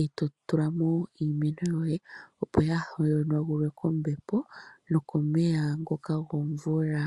eto tula mo iimeno yoye, opo ya hanagulwe po kombepo nokomeya ngoka gomvula.